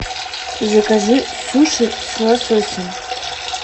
закажи суши с лососем